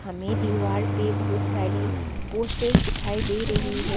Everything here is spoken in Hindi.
हमें दीवार पे बहुत सारी पोस्टर्स दिखाई दे रही है।